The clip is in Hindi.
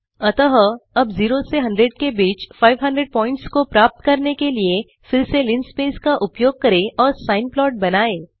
अतः अब 0 से 100 के बीच 500 प्वॉइंट्स को प्राप्त करने के लिए फिर से लिनस्पेस का उपयोग करें और सिने प्लॉट बनाएँ